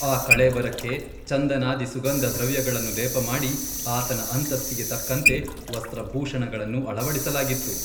ಆ ಕಳೇಬರಕ್ಕೆ ಚಂದನಾದಿ ಸುಗಂಧದ್ರವ್ಯಗಳನ್ನು ಲೇಪಮಾಡಿ ಆತನ ಅಂತಸ್ತಿಗೆ ತಕ್ಕಂತೆ ವಸ್ತ್ರಭೂಷಣಗಳನ್ನು ಅಳವಡಿಸಲಾಗಿತ್ತು.